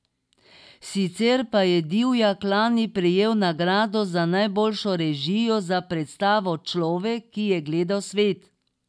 Sicer pa je Divjak lani prejel nagrado za najboljšo režijo za predstavo Človek, ki je gledal svet.